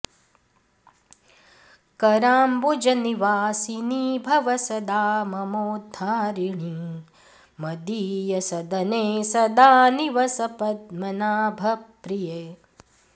कराम्बुजनिवासिनी भव सदा ममोद्धारिणी मदीयसदने सदा निवस पद्मनाभप्रिये